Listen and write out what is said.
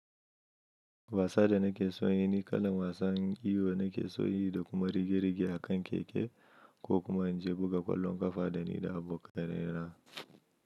Wasa da nake so in yi ni kalan wasan iwo nake so yi da kuma rige-rige a kan keke ko kuma in je buga ƙwallon ƙafa da ni da abokanai na.